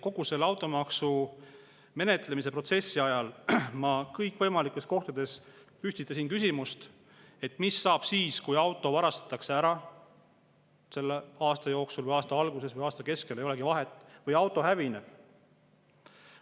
Kogu selle automaksu menetlemise protsessi ajal ma kõikvõimalikes kohtades püstitasin küsimuse, et mis saab siis, kui auto varastatakse ära aasta jooksul – aasta alguses või aasta keskel, ei olegi vahet – või auto hävib.